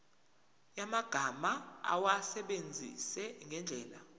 yamagama awasebenzise ngendlela